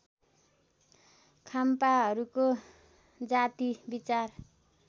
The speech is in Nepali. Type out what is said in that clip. खाम्पाहरूको जाति विचार